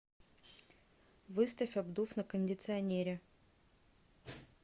выставь обдув на кондиционере